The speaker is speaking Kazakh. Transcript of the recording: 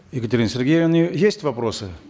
екатерине сергеевне есть вопросы